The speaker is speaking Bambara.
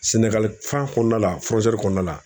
Sɛnɛgali fan kɔnɔna la kɔnɔna la